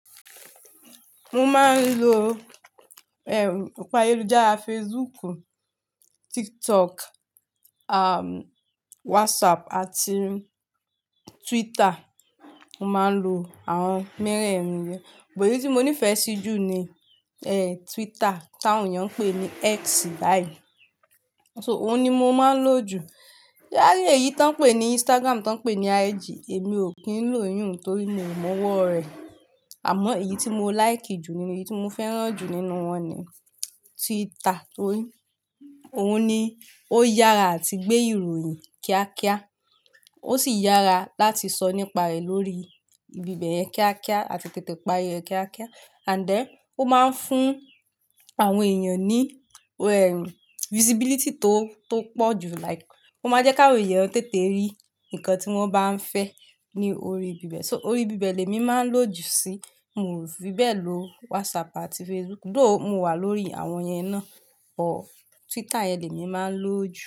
Mo máa ń lo, ọ̀pọ̀ ayeludara Facebook, TikTok, WhatsApp àti Twitter. Mo máa ń lo àwọn mẹ́rẹ̀ẹ̀rin yẹn. But eyìí tí mo nífẹ̀ẹ́ sí jù ni, Twitter tí àwọn èèyàn ń pè ní X báyìí. So òun ni mo máa ń lo jù. Ṣé ewa rí eyìí tí wọ́n ń pè ní Instagram tí wọ́n ń pè ní IG, èmi ò kí ń lo ìyun torí mi ò mọ ọwọ́ rẹ̀. Àmọ́ èyí tí mo like jù nínú, èyí tí mo fẹ́ràn jù nínú wọn ni Twitter. Óhòun ni ó yára àti gbé ìròyìn kíákíá. Ó sì yára láti sọ nípa rẹ̀ lórí ibi bẹ̀yẹn kíákíá àti tètè parí rẹ̀ kíákíá. And then ó máa ń fún àwọn èèyàn ní, visibility tó pọ̀ jù. Like ó máa jẹ́ kí àwọn èèyàn tètè rí nǹkan tí wọ́n bá ń fẹ́ ní orí ibi bẹ̀. So orí ibi bẹ̀ lèmi máa ń lo jù sí. Mio fi bẹ́ẹ̀ lo WhatsApp àti Facebook, though mo wà lórí àwọn yẹn náà, but Twitter yẹn lèmi máa ń lo jù.